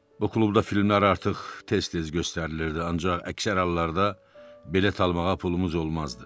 Bu klubda filmlər artıq tez-tez göstərilirdi, ancaq əksər hallarda bilet almağa pulumuz olmazdı.